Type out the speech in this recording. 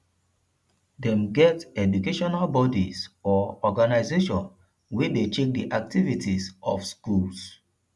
dem get educational bodies or organization wey de check the activities of schools